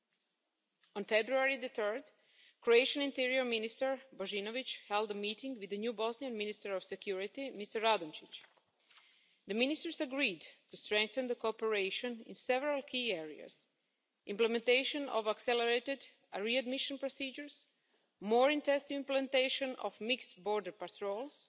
On 3 February, the Croatian Interior Minister Božinović, held a meeting with the new Bosnian Minister of Security, Mr Radončić. The ministers agreed to strengthen the cooperation in several key areas implementation of accelerated readmission procedures, more intense implementation of mixed border patrols